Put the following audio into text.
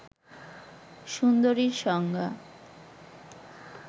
সুন্দরীর সংজ্ঞা